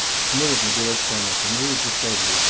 смотрят на дурачка на хуй ну и пускай блять